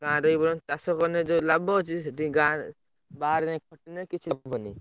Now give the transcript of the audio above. ଗାଁରେ ଏଇଭଳିଆ ଚାଷ କଲେ ଯୋଉ ଲାଭ ଅଛି ସେଠିକି ଗାଁରେ ବାହାରେ ଯାଇକି ଖଟିଲେ କିଛି ମିଳିବନି।